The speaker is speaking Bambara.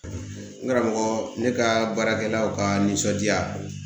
N karamɔgɔ ne ka baarakɛlaw ka nisɔndiya